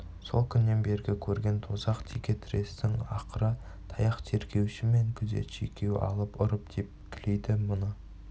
сол күннен бергі көрген тозақ теке-тірестің ақыры таяқ тергеуші мен күзетші екеуі алып ұрып тепкілейді мұны